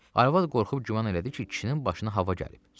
Arvad qorxub güman elədi ki, kişinin başına hava gəlib.